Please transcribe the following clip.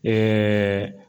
Ɛɛɛ